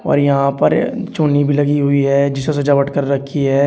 और यहाँ पर चुन्नी भी लगी हुई है जिसो सजावट कर रखी है।